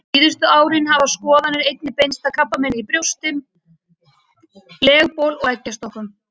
Síðustu árin hafa skoðanir einnig beinst að krabbameini í brjóstum, legbol og eggjastokkum.